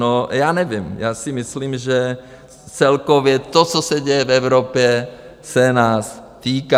No, já nevím, já si myslím, že celkově to, co se děje v Evropě, se nás týká.